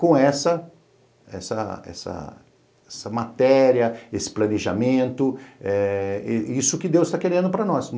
com essa essa essa essa matéria, esse planejamento, eh isso que Deus está querendo para nós.